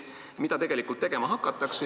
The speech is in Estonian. Mida tegelikult tegema hakatakse?